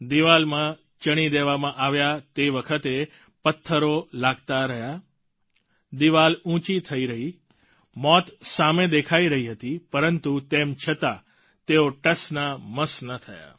દિવાલમાં ચણી દેવામાં આવ્યા તે વખતે પત્થરો લાગતા રહ્યા દિવાલ ઉંચી થઈ રહી મોત સામે દેખાઈ રહી હતી પરંતુ તેમ છતાં તેઓ ટસ ના મસ ના થયા